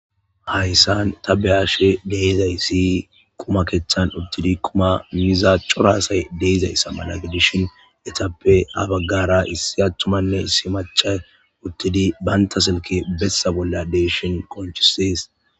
hayssan ta behashe deizaysi quma keththan uttidi quma miza coraasay deizayssa mala gedishin etappe abaggara issi attumanne issi macha uttidi baynta silke bessa bolla deeshin qonchisis